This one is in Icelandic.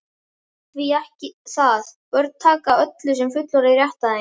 Því ekki það, börn taka öllu sem fullorðnir rétta þeim.